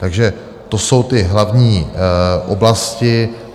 Takže to jsou ty hlavní oblasti.